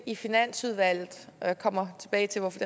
i finansudvalget jeg kommer tilbage til hvorfor